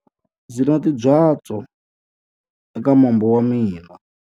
Ndzi na timbyatsu eka mombo wa mina.